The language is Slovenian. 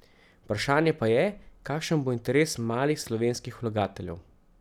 Vprašanje pa je, kakšen bo interes malih slovenskih vlagateljev.